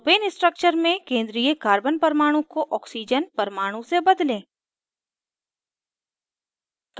propane structure में केंद्रीय carbon परमाणु को oxygen परमाणु से बदलें